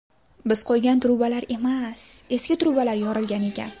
Biz qo‘ygan ‘truba’lar emas, eski ‘truba’lar yorilgan ekan.